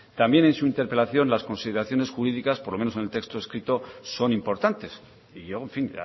también en su interpelación las consideraciones jurídicas por lo menos en el texto escrito son importantes y yo en fin